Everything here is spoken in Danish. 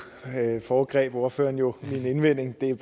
foregreb ordføreren jo min indvending